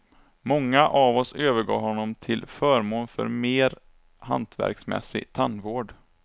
Många av oss övergav honom till förmån för mer hantverksmässsig tandvård.